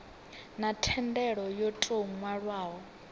na thendelo yo tou nwalwaho